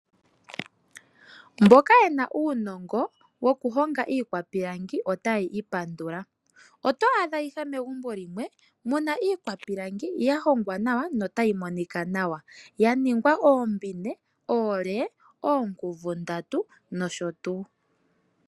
Mboka yena uunongo wo kuhonga iikwapilangi otayi pandula oto aadha megumbo muna ikwapilangi ya hogwa nawa yo otayi monikanawa ya nikwa oombine, olee, oonkuvu ndaatu nosho tuu.